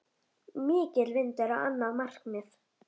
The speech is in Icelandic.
Mikill vindur á annað markið.